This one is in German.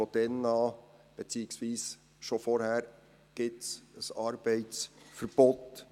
Von da an, beziehungsweise bereits zuvor, gibt es für diese Leute ein Arbeitsverbot.